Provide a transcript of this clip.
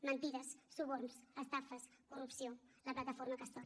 mentides suborns estafes corrupció la plataforma castor